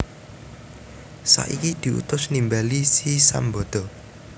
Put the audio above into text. Saiki diutus nimbali si Sambada